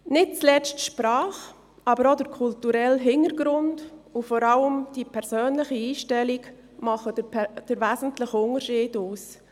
Nicht zuletzt die Sprache, aber auch der kulturelle Hintergrund und vor allem die persönliche Einstellung machen den wesentlichen Unterschied aus.